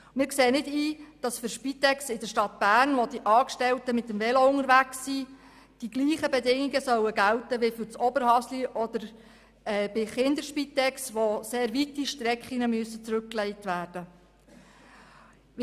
Wir sehen nicht ein, dass für die Spitex in der Stadt Bern, wo die Angestellten mit dem Fahrrad unterwegs sind, die gleichen Bedingungen gelten sollen wie für das Oberhasli oder die Kinderspitex, wo sehr weite Strecken zurückgelegt werden müssen.